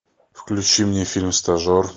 включи мне фильм стажер